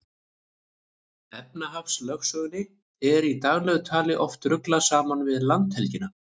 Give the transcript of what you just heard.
Efnahagslögsögunni er í daglegu tali oft ruglað saman við landhelgina.